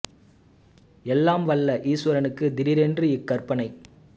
எல்லாம் வல்ல ஈசுவரனுக்கு திடீரென்று இக் கற்பனை